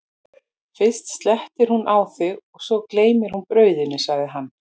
fyrst slettir hún á þig og svo gleymir hún brauðinu, sagði hann.